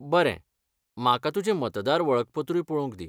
बरें. म्हाका तुजें मतदार वळखपत्रूय पळोवंक दि.